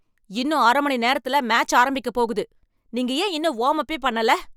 இன்னும் அர மணி நேரத்துல மேட்ச் ஆரம்பிக்க போகுது. நீங்க ஏன் இன்னும் வாம்-அப்பே பண்ணல?